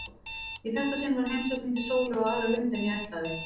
Í þetta sinn var heimsókn mín til Sólu á aðra lund en ég ætlaði.